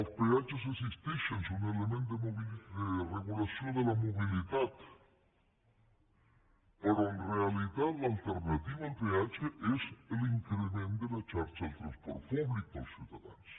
els peatges existeixen és un element de regulació de la mobilitat però en realitat l’alternativa al peatge és l’increment de la xarxa del transport públic per als ciutadans